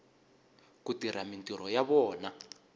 ku tirha mintirho ya vona